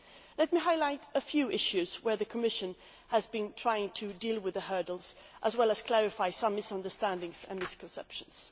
Let me highlight a few issues where the Commission has been trying to deal with the initial hurdles, as well as clarify some misunderstandings and misconceptions.